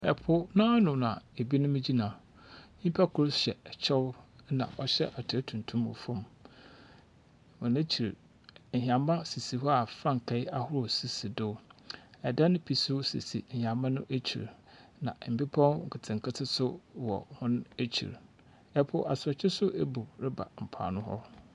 Po no ano na ebinom gyina. Nyimpa kor hyɛ kyɛw na wahyɛ atar tuntum wɔ fam. Hɔn ekyir, hɛmba sisi hɔ a frankae ahorow sisi do. Dan bi nso sisi ahɛmba no ekyir, na mbepɔ nketenkete nso wɔ hɔn ekyir. Po asorɔkye nso ebu rebɔ mpoano hɔ.